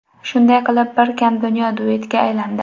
Shunday qilib ‘Bir kam dunyo‘ duetga aylandi.